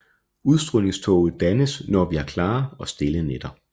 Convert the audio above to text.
Udstrålingtåge dannes når vi har klare og stille nætter